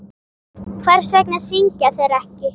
Hvers vegna syngja þeir ekki?